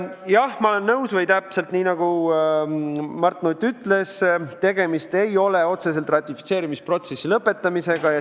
Jah, ma olen nõus, täpselt nii, nagu Mart Nutt ütles, tegemist ei ole otseselt ratifitseerimisprotsessi lõpetamisega.